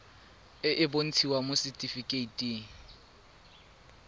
e e bontshitsweng mo setifikeiting